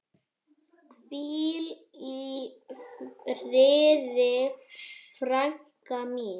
Hvíl í friði frænka mín.